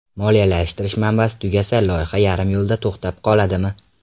Moliyalashtirish manbasi tugasa, loyiha yarim yo‘lda to‘xtab qoladimi?